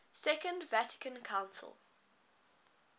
second vatican council